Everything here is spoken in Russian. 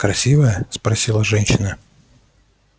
красивая спросила женщина